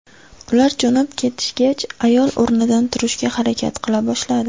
Ular jo‘nab ketishgach, ayol o‘rnidan turishga harakat qila boshladi.